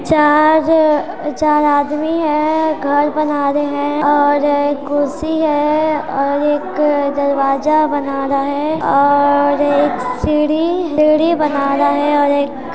चार चार आदमी हैं घर बना रहे हैं और एक कुर्सी हैं और एक दरवाज़ा बना रहा हैं और एक सीढी-सीढी बना रहा हैं और एक--